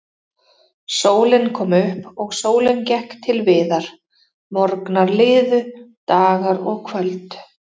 Sólin kom upp og sólin gekk til viðar, morgnar liðu, dagar og kvöld.